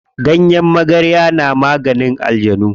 Ganyen magarya na maganin aljanu.